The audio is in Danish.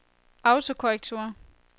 autokorrektur